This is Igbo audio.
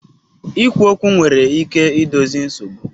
Ikwu okwu nwere ike idozi nsogbu